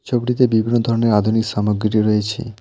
ছবিটিতে বিভিন্ন ধরনের আধুনিক সামগ্রীও রয়েছে।